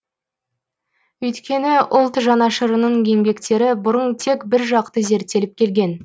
өйткені ұлт жанашырының еңбектері бұрын тек біржақты зерттеліп келген